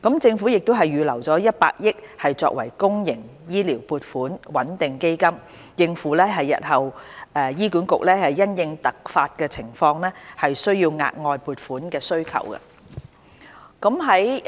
政府亦已預留100億元作公營醫療撥款穩定基金，應付日後醫管局因突發情況需要額外撥款的需求。